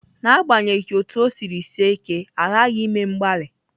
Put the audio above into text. N'agbanyeghị otú ọ siri sie ike, a ghaghị ime mgbalị.